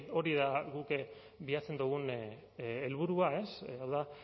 hori da guk bilatzen dugun helburua hau da